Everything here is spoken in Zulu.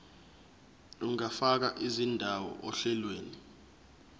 ungafaka indawo ohlelweni